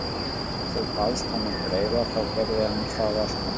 Ef þú baðst hann um greiða þá gerði hann það alltaf.